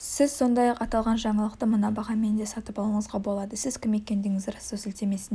сіз сондай-ақ аталған жаңалықты мына бағамен де сатып алуыңызға болады сіз кім екендігіңізді растау сілтемесіне